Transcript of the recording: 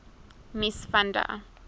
mies van der